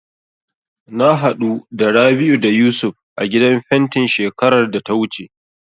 Na haɗu da Rabi'u da Yusuf a gidan fentin shekarar da ta wuce.